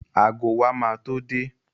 Ago wa ma tó dé